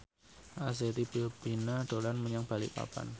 Arzetti Bilbina dolan menyang Balikpapan